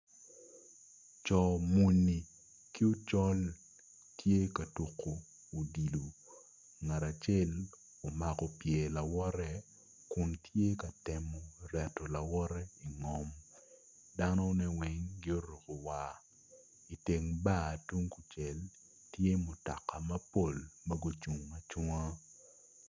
Co muni ki ocol tye ka tuko odilo ngat acel omako pyer lawote kun tye ka temo reto lawote ingom danone weng gioruko war iteng bar tung kucel tye mutoka mapol ma gucung acunga.